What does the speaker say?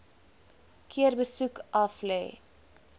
keer besoek aflê